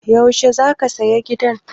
Yaushe za ka saya gidan?